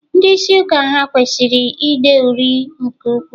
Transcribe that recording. Ndị isi ụka ha kwesịrị ide uri nke ukwuu?